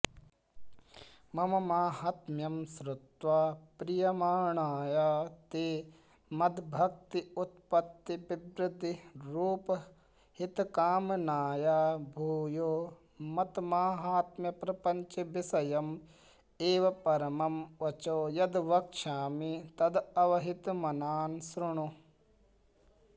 मम माहात्म्यं श्रुत्वा प्रीयमाणाय ते मद्भक्त्युत्पत्तिविवृद्धिरूपहितकामनाय भूयो मन्माहात्म्यप्रपञ्चविषयमेव परमं वचो यद्वक्ष्यामि तदवहितमनां सृणु